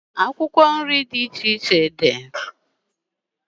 Akwụkwọ nri dị iche iche dị.